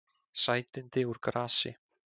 Sætindi úr grasi